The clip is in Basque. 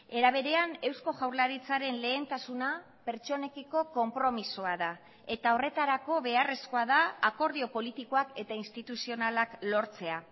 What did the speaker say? era berean eusko jaurlaritzaren lehentasuna pertsonekiko konpromisoa da eta horretarako beharrezkoa da akordio politikoak eta instituzionalak lortzea